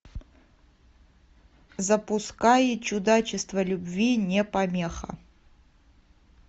запускай чудачество любви не помеха